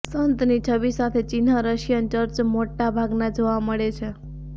સંત ની છબી સાથે ચિહ્ન રશિયન ચર્ચ મોટા ભાગના જોવા મળે છે